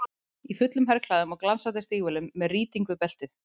Í fullum herklæðum og glansandi stígvélum, með rýting við beltið.